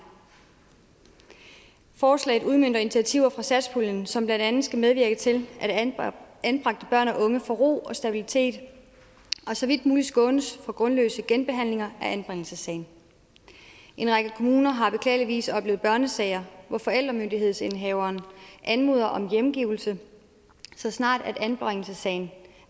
forslaget udmønter initiativer fra satspuljen som blandt andet skal medvirke til at anbragte børn og unge får ro og stabilitet og så vidt muligt skånes for grundløse genbehandlinger af anbringelsessagen en række kommuner har beklageligvis oplevet børnesager hvor forældremyndighedsindehaveren anmoder om hjemgivelse så snart anbringelsessagen